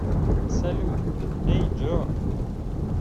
салют эй джо